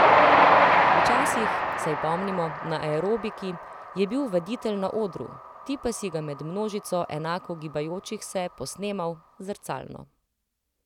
Včasih, saj pomnimo, na aerobiki, je bil vaditelj na odru, ti pa si ga med množico enako gibajočih se posnemal, zrcalno.